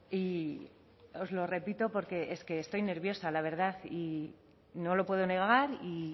y os lo repito porque es que estoy nerviosa la verdad y no lo puedo negar y